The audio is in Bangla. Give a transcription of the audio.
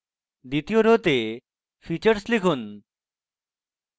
দ্বিতীয় রোতে features লিখুন